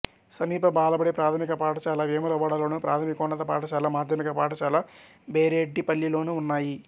సమీప బాలబడి ప్రాథమిక పాఠశాల వేములవాడలోను ప్రాథమికోన్నత పాఠశాల మాధ్యమిక పాఠశాల బేరెడ్డిపల్లిలోనూ ఉన్నాయి